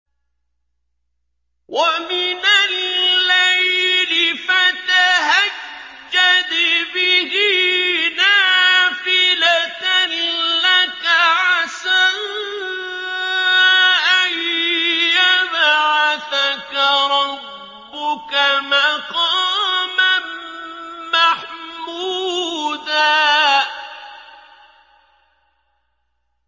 وَمِنَ اللَّيْلِ فَتَهَجَّدْ بِهِ نَافِلَةً لَّكَ عَسَىٰ أَن يَبْعَثَكَ رَبُّكَ مَقَامًا مَّحْمُودًا